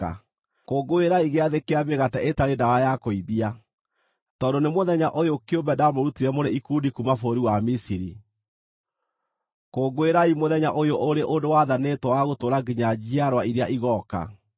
“Kũngũĩrai Gĩathĩ kĩa Mĩgate Ĩtarĩ Ndawa ya Kũimbia, tondũ nĩ mũthenya ũyũ kĩũmbe ndamũrutire mũrĩ ikundi kuuma bũrũri wa Misiri. Kũngũĩrai mũthenya ũyũ ũrĩ ũndũ wathanĩtwo wa gũtũũra nginya njiarwa iria igooka.